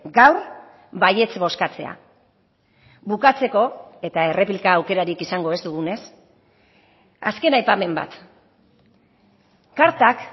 gaur baietz bozkatzea bukatzeko eta erreplika aukerarik izango ez dugunez azken aipamen bat kartak